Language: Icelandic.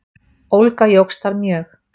Ólga jókst þar mjög.